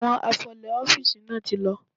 Àwọn afọlè ọ́fíìsì náà ti lọ.